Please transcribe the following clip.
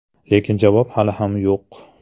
Lekin javob hali ham yo‘q.